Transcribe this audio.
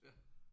Ja